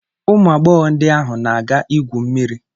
Ụmụ agbọghọ ndị ahụ na-aga ịgwụ mmiri.